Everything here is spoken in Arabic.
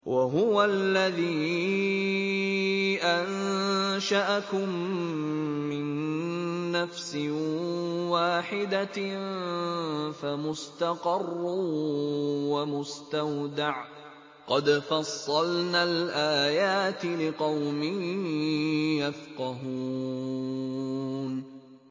وَهُوَ الَّذِي أَنشَأَكُم مِّن نَّفْسٍ وَاحِدَةٍ فَمُسْتَقَرٌّ وَمُسْتَوْدَعٌ ۗ قَدْ فَصَّلْنَا الْآيَاتِ لِقَوْمٍ يَفْقَهُونَ